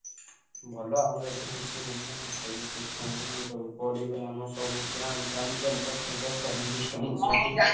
ଭଲ ଆମର ଏଠି କିଛି ହେଇନି ସବୁ system ସବୁ ପଢିବେ ଆମ ସବୁ camp ଫ୍ଯାମ୍ପ campus ଫ୍ଯାମ୍ପସ ସବୁ system ଅଛି।